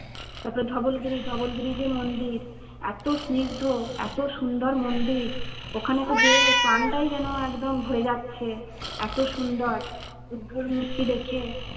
তার পর ধবলগিরি ধবলগিরি যে মন্দির। এত স্নিগ্ধ এত সুন্দর মন্দির ওখানে তো যেয়ে প্রাণটাই যেন একদম ভরে যাচ্ছে। এত সুন্দর বুদ্ধ মূর্তি দেখে